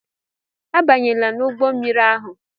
Abanyela n'ụgbọ mmiri ahu!